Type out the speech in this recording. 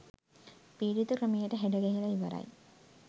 පීඩිත ක්‍රමයට හැඩගැහිලා ඉවරයි.